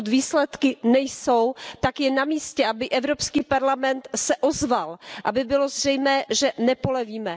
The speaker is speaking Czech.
Pokud výsledky nejsou, tak je na místě, aby Evropský parlament se ozval, aby bylo zřejmé, že nepolevíme.